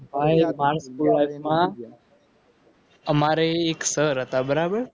અમારે ધોરણ માં અમારે એક sir હતા બરાબર